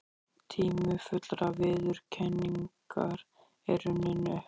Tími fullrar viðurkenningar er runninn upp.